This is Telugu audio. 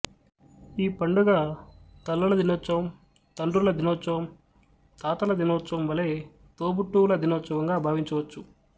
ఈ పండుగ తల్లుల దినోత్సవం తండ్రుల దినోత్సవం తాతల దినోత్సవం వలె తోబుట్టువుల దినోత్సవంగా భావించవచ్చు